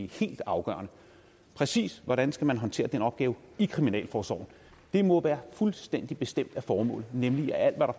helt afgørende præcis hvordan skal man håndtere den opgave i kriminalforsorgen det må være fuldstændig bestemt af formålet nemlig at alt hvad